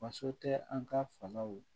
Faso tɛ an ka fangaw